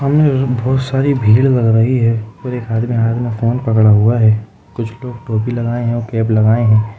बहुत सारी भीड़ लग रही है और एक आदमी हाथ में फ़ोन पकड़ा हुआ है कुछ लोग टोपी लगाए हैं और कैप लगाए हैं।